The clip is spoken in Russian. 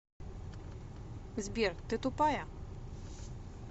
сбер ты тупая